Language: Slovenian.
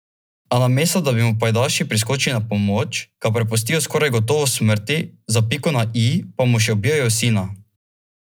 A namesto da bi mu pajdaši priskočili na pomoč, ga prepustijo skoraj gotovi smrti, za piko na i pa mu še ubijejo sina.